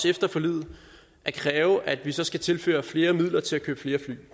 efter forliget at kræve at vi så skal tilføre flere midler til at købe flere fly